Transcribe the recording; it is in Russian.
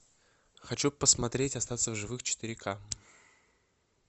хочу посмотреть остаться в живых четыре ка